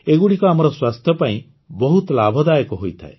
ଏଗୁଡ଼ିକ ଆମର ସ୍ୱାସ୍ଥ୍ୟ ପାଇଁ ବହୁତ ଲାଭଦାୟକ ହୋଇଥାଏ